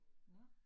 Nåh